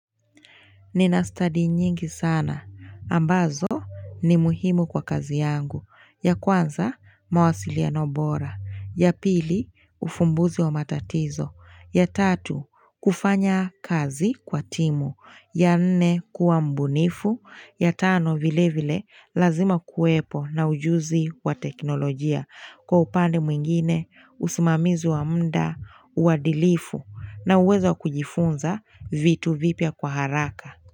Nina study nyingi sana. Ambazo ni muhimu kwa kazi yangu. Ya kwanza mawasiliano bora. Ya pili ufumbuzi wa matatizo. Ya tatu kufanya kazi kwa timu. Ya nne kuwa mbunifu. Ya tano vile vile lazima kuwepo na ujuzi wa teknolojia. Kwa upande mwingine, usimamizi wa muda, uwadilifu na uwezo wa kujifunza vitu vipya kwa haraka.